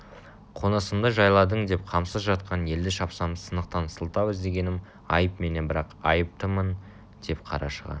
қонысымды жайладың деп қамсыз жатқан елді шапсам сынықтан сылтау іздегенім айып менен бірақ айыптымын деп қарашыға